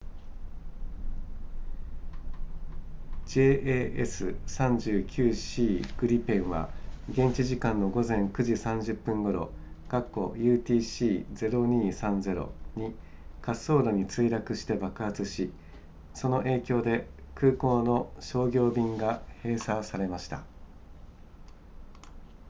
jas 39c グリペンは現地時間の午前9時30分頃 utc 0230に滑走路に墜落して爆発しその影響で空港の商業便が閉鎖されました